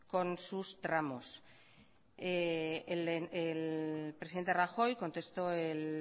con sus tramos el presidente rajoy contestó el